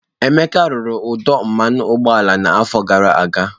Emeka rụrụ ọdụ mmanụ ụgbọala n'afọ gara aga.